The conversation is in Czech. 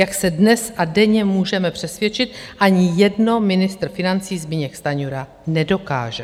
Jak se dnes a denně můžeme přesvědčit, ani jedno ministr financí Zbyněk Stanjura nedokáže.